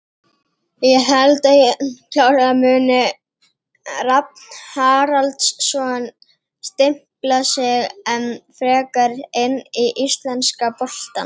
Ég held að klárlega muni Rafn Haraldsson stimpla sig enn frekar inn í íslenska boltann.